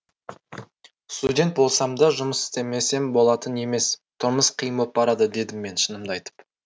студент болсам да жұмыс істемесем болатын емес тұрмыс қиын боп барады дедім мен шынымды айтып